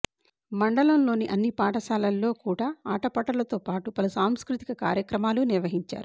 మండలంలోని అన్ని పాఠశాలల్లో కూడా ఆటపాటలతో పాటు పలు సాంస్కృతిక కార్యక్రమాలు నిర్వహించారు